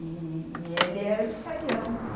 E, e ele era o serião.